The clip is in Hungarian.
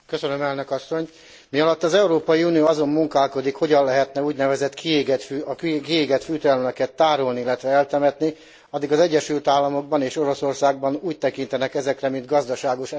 Mialatt az Európai Unió azon munkálkodik, hogyan lehetne az úgynevezett kiégett fűtőelemeket tárolni, illetve eltemetni, addig az Egyesült Államokban és Oroszországban úgy tekintenek ezekre mint gazdaságos energiahordozókra.